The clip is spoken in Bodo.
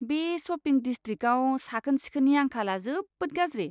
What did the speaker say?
बे शपिं डिसट्रिकआव साखोन सिखोननि आंखालआ जोबोद गाज्रि।